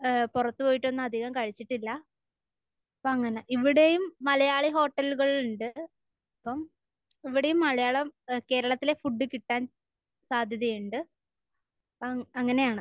ഏഹ് പുറത്ത് പോയിട്ട് ഒന്നും അധികം കഴിച്ചിട്ടില്ല. അപ്പൊ അങ്ങനെ. ഇവിടെയും മലയാളി ഹോട്ടലുകൾ ഉണ്ട്. അപ്പൊ ഇവിടെയും മലയാളം...കേരളത്തിലെ ഫുഡ് കിട്ടാൻ സാധ്യതയുണ്ട്. ആം. അങ്ങനെയാണ്.